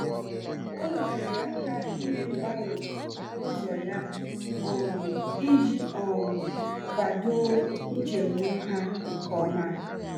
O nyere aka ime mgbanwe n'ụzọ ya um iji um kwado nchegbu ha nke ọma.